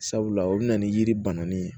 Sabula o bɛ na ni yiri bananen ye